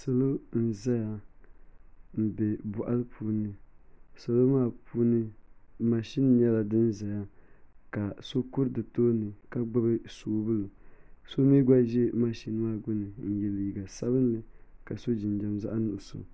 Salo n ʒɛya n bɛ boɣali puuni salo maa puuni mashin nyɛla din ʒɛya ka so kuri di tooni ka gbubi soobuli so mii gba ʒɛ mashin maa gbuni ka yɛ liiga sabinli ka so jinjɛm zaɣ nuɣso